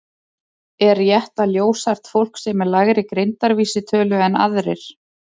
Er rétt að ljóshært fólk sé með lægri greindarvísitölu en aðrir?